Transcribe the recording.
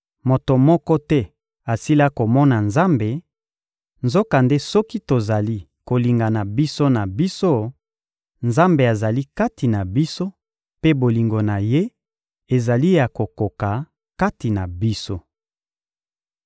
Moto moko te asila komona Nzambe; nzokande soki tozali kolingana biso na biso, Nzambe azali kati na biso mpe bolingo na Ye ezali ya kokoka kati na biso.